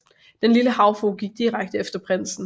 Den lille havfrue gik direkte efter prinsen